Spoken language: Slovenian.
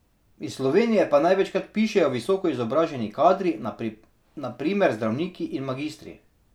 Iz Slovenije pa največkrat pišejo visoko izobraženi kadri, na primer zdravniki in magistri.